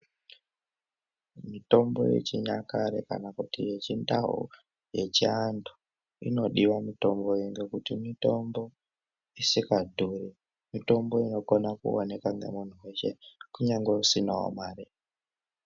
Mitombo yechinyakare kana kuti yechindau yechiantu inodiva mitombo iyi. Ngekuti mitombo isikadhuri mitombo inokona kuoneka ngemuntu veshe kunyange usinavo mare.